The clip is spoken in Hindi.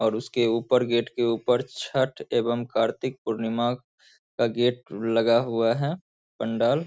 और उसके ऊपर गेट के ऊपर छठ एवं कार्तिक पूर्णिमा का गेट लगा हुआ है पंडाल।